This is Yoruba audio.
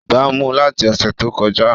Ibà mu láti ọṣẹ tó kọjá